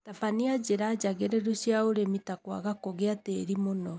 Tabania njĩra njagĩrĩru cia ũrĩmi ta kwaga kũgia tĩri mũno